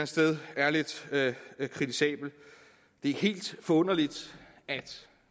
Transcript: sted er lidt kritisabelt det er helt forunderligt at